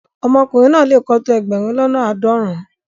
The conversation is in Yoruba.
Omokunrin na le ko to egberun lona aadorun-un